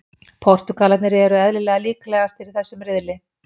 Portúgalarnir eru eðlilega líklegastir í þessum riðli.